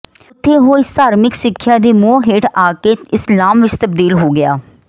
ਉੱਥੇ ਉਹ ਇਸ ਧਾਰਮਿਕ ਸਿੱਖਿਆ ਦੇ ਮੋਹ ਹੇਠ ਆ ਕੇ ਇਸਲਾਮ ਵਿਚ ਤਬਦੀਲ ਹੋ ਗਿਆ